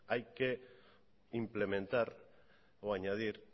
hay que implementar o añadir